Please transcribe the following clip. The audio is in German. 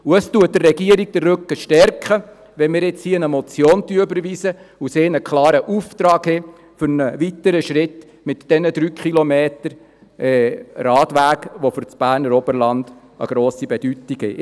Es stärkt der Regierung den Rücken, wenn wir jetzt eine Motion überweisen und die Regierung einen klaren Auftrag für den nächsten Schritt für diese 3 Kilometer Radweg erhält, die für das Berner Oberland eine grosse Bedeutung haben.